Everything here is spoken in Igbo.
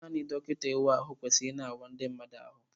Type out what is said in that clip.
Naanị dọkịta ị wa ahụ kwesịrị ị na awa ndi mmadụ ahụ.